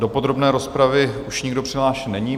Do podrobné rozpravy už nikdo přihlášen není.